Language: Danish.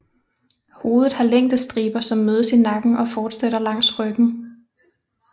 Hovedet har længdestriber som mødes i nakken og fortsætter langs ryggen